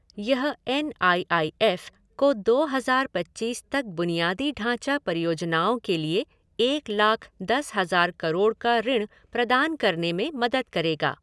यह N I I F को दो हज़ार पच्चीस तक बुनियादी ढांचा परियोजनाओं के लिए एक लाख दस हज़ार करोड़ का ऋण प्रदान करने में मदद करेगा।